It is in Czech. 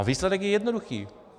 A výsledek je jednoduchý.